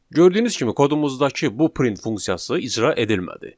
Gördüyünüz kimi kodumuzdakı bu print funksiyası icra edilmədi.